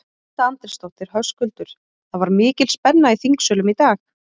Edda Andrésdóttir: Höskuldur, það var mikil spenna í þingsölum í dag?